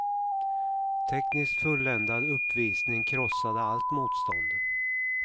Tekniskt fulländad uppvisning krossade allt motstånd.